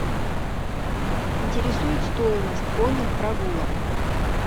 интересует стоимость конных прогулок